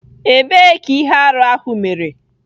Ebee ka ihe arụ ahụ mere.